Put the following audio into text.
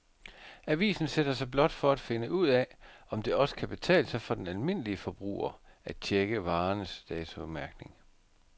Avisen sætter sig blot for at finde ud af, om det også kan betale sig for den almindelige forbruger at checke varernes datomærkning.